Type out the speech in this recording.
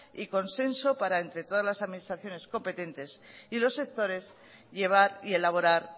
y consenso para entre todas las administraciones competentes y los sectores llevar y elaborar